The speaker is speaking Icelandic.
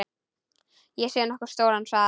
Sé nokkuð stóran sal.